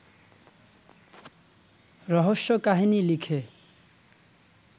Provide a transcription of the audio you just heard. রহস্যকাহিনী লিখে